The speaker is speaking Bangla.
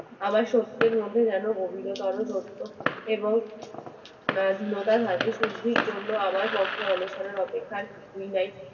আমার শক্তির মধ্যে যেন গভীর তর সত্য দ্রব্য এবং সিদ্ধির জন্য আমার পথএ অনশনের অপেক্ষায়